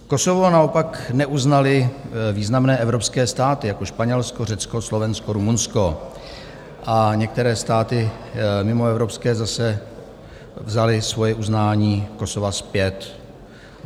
Kosovo naopak neuznaly významné evropské státy jako Španělsko, Řecko, Slovensko, Rumunsko a některé státy mimoevropské zase vzaly svoje uznání Kosova zpět.